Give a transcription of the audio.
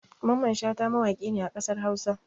Mamman Shata mawaƙi ne a ƙasar Hausa.